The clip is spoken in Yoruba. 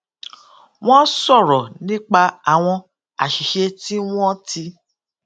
wón sòrò nípa àwọn àṣìṣe tí wón ti